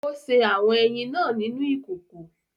Ó sè awọn ẹyin náà nínú ìkòkò